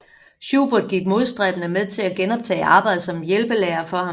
Schubert gik modstræbende med til at genoptage arbejdet som hjælpelærer for ham